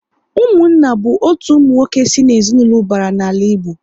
Ụmụnna bụ otu ụmụnwoke si na ezinaụlọ ubara n'ala Igbo